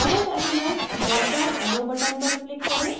current element drop down arrow button पर click करें